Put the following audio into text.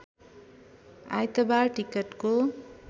आइतबार टिकटको